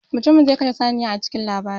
Mutumin zai kashe saniya a cikin labarin.